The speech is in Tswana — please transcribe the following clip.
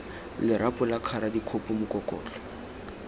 lerapo la kgara dikgopo mokokotlo